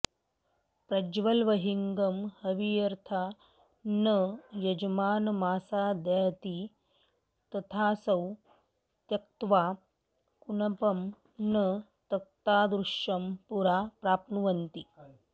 प्रज्वलवह्निगं हविर्यथा न यजमानमासादयति तथासौ त्यक्त्वा कुणपं न तत्तादृशं पुरा प्राप्नुवन्ति